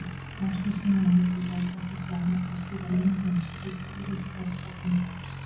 Ásgeirssyni á Hótel Borg, ætti senn eftir að stýra leyniþjónustu þýska yfirherforingjaráðsins.